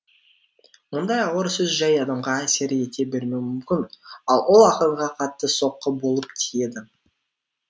мұндай ауыр сөз жай адамға әсер ете бермеуі мүмкін ал ол ақынға қатты соққы болып тиеді